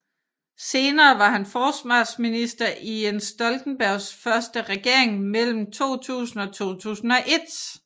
Senere var han forsvarsminister i Jens Stoltenbergs første regering mellem 2000 og 2001